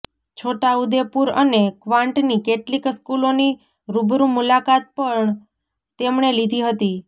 છોટાઉદેપુર અને કવાંટની કેટલીક સ્કૂલોની રૃબરૃ મુલાકાત પણ તેમણે લીધી હતી